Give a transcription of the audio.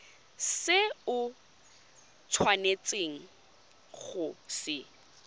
se o tshwanetseng go se